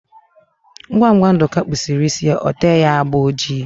Ngwa ngwa Nduka kpusiri isi ya, ote ya agba ojii